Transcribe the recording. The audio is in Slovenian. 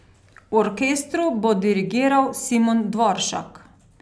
Orkestru bo dirigiral Simon Dvoršak.